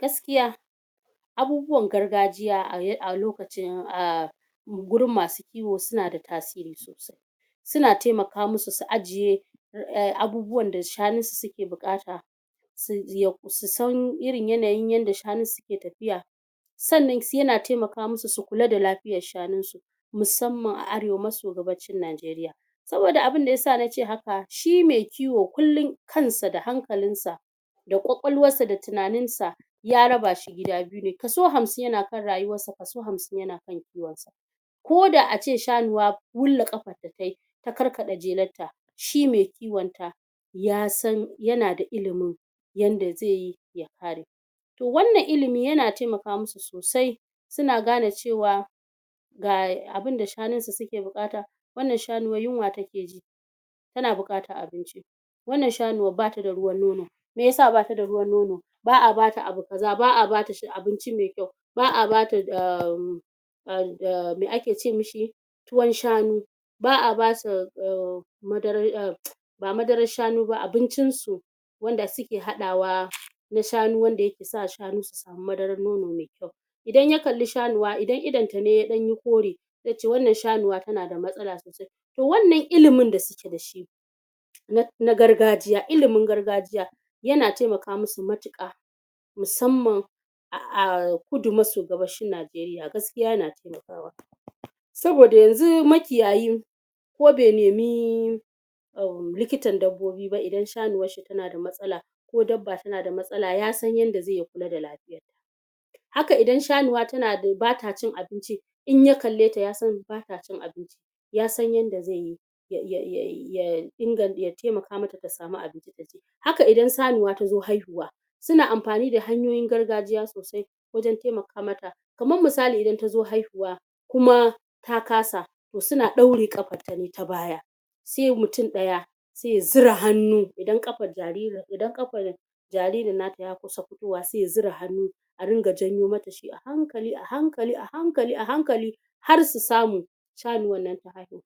gaskiya abubuwan gargajiya a lokacin um gurin masu kiwo suna da tasiri sosai suna temaka musu su ajiye abubuwan da shanun su suke buƙata su san irin yanayin yadda shanun su ke tafiya sannan yana temaka mu su su kula da lafiyar shanun su musamman a arewa maso gabashin Najeriya saboda abunda ya sa na ce haka, shi me kiwo kullum kan sa da hankalinsa da ƙwaƙwalwarsa da tunanin sa ya raba shi gida biyu ne kaso hamsin (50) yana kan rayuwar sa kaso hamsin (50) yana kan kiwon sa ko da ace shanuwa wulla ƙafar ta tayi ta karkaɗa jelar ta shi me kiwon ta ya san yana da ilimin yanda ze yi ya kare to wannan ilimi yana temaka mu su sosai suna gane cewa ga abunda shanun su suke buƙata wannan shanuwar yunwa take ji tana buƙatar abinci wannan shanuwar bata da ruwan nono meyasa bata da ruwan nono? ba'a bata abu kaza ba'a bata abinci me kyau ba'a bata umm umm me ake ce mi shi tuwon shanu ba'a bata umm madarar umm ba madarar shanu ba abincin su wanda suke haɗawa na shanu wanda yake sa shanu su samu madarar nono me kyau idan ya kalli shanuwa idan idon ta ne ya ɗan yi kore ze ce wannan shanuwa tana da matsala sosai to wannan ilimin da suke da shi na gargajiya ilimin gargajiya yana temaka mu su matuƙa musamman a kudu maso gabashin Najeriya gaskiya yana temakawa saboda yanzun makiyayi ko be nemi umm likitan dabbobi ba idan shanuwar shi tana da matsala ko dabba tana da matsala ya san yadda ze yi ya kula da lafiya hakan idan shanuwa bata cin abinci in ya kalle ta ya san bata cin abinci ya san yadda ze yi ya ya temaka mata ta samu abinci ta ci haka idan sanuwa ta zo haihuwa suna amfani da hanyoyin gargajiya sosai wajen temaka mata kaman misali idan ta zo haihuwa kuma ta kasa to suna ɗaure ƙafarta ne ta baya se mutum ɗaya se ya zura hannu idan ƙafar jaririn nata ya kusa fitowa se ya zura hannu a ringa janyo mata a hankali-ahankali ahankali-ahankali har su samu shanuwar nan ta haihu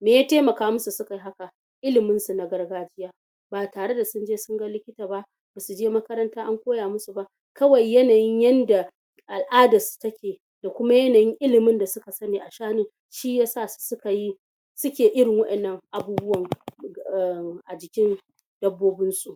me ya temaka musu suka yi haka? ilimin su na gargajiya ba tare da sun je sun ga likita ba basu je makaranta an koya musu ba kawai yanayin yanda al'adar su take ko kuma yanayin ilimin da suka sani a shanu shi yasa su suka yi suke irin wa'ennan abubuwan um a jikin dabbobin su